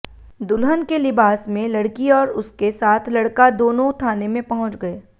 दुल्हन के लिबास में लड़की और उसके साथ लड़का दोनों थाने में पहुंच गए